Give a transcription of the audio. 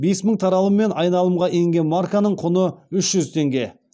бес мың таралыммен айналымға енген марканың құны үш жүз теңге